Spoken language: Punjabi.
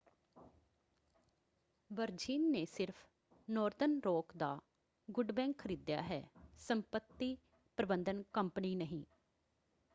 ਵਰਜਿਨ ਨੇ ਸਿਰਫ਼ ਨਾਰਦਰਨ ਰੌਕ ਦਾ ‘ਗੁੱਡ ਬੈਂਕ’ ਖਰੀਦਿਆ ਹੈ ਸੰਪਤੀ ਪ੍ਰਬੰਧਨ ਕੰਪਨੀ ਨਹੀਂਂ।